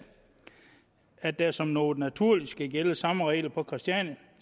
at der som noget naturligt skulle gælde de samme regler på christiania